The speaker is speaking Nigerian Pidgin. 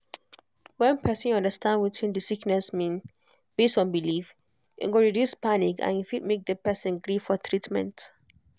whenperson understand wetin the sickness mean based on belief e go reduce panic and e fit make the person gree for treatment.